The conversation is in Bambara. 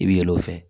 I bɛ yɛlɛ o fɛ